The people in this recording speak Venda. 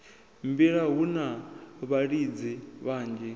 mbila hu na vhalidzi vhanzhi